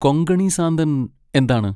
കൊങ്കണി സാന്തൻ എന്താണ്?